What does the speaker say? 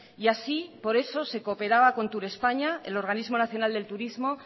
y así por eso se cooperaba con tour españa el organismo nacional del turismo